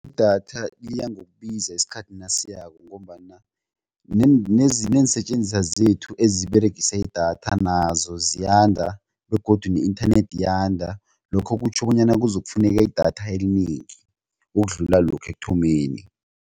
Idatha liya ngokubiza isikhathi nasiyako ngombana nenseetjenziswa zethu eziberegisa idatha nazo ziyanda begodu ne-inthanethi iyanda lokho kutjho bonyana kuzokufuneka idatha elinengi ukudlula lokha ekuthomeni.